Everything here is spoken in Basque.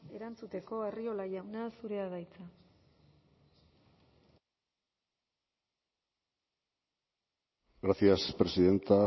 erantzuteko arriola jauna zurea da hitza gracias presidenta